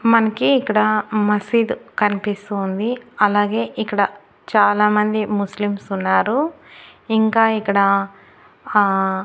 మన్కీ ఇక్కడ మసీదు కనిపిస్తోంది అలాగే ఇక్కడ చాలామంది ముస్లింసున్నారు ఇంకా ఇక్కడ ఆ--